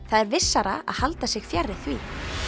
það er vissara að halda sig fjarri því